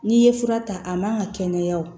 N'i ye fura ta a man ka kɛnɛya o